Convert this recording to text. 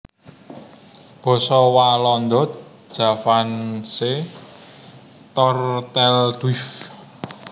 Basa Walanda Javaanse Tortelduif